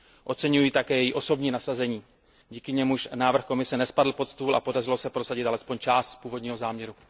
Oceňuji její osobní nasazení, díky němuž návrh Komise nespadl pod stůl a podařilo se prosadit alespoň část z původního záměru.